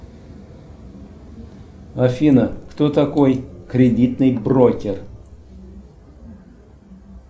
афина кто такой кредитный брокер